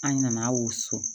An nana wusu